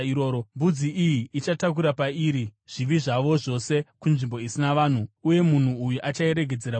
Mbudzi iyi ichatakura pairi zvivi zvavo zvose kunzvimbo isina vanhu, uye munhu uyu achairegedzera murenje.